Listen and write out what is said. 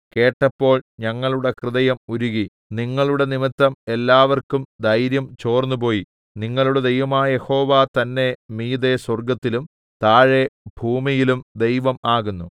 കേട്ടപ്പോൾ ഞങ്ങളുടെ ഹൃദയം ഉരുകി നിങ്ങളുടെ നിമിത്തം എല്ലാവർക്കും ധൈര്യം ചോർന്നുപോയി നിങ്ങളുടെ ദൈവമായ യഹോവ തന്നെ മീതെ സ്വർഗ്ഗത്തിലും താഴെ ഭൂമിയിലും ദൈവം ആകുന്നു